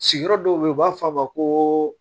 Sigiyɔrɔ dɔw be ye u b'a f'a ma ko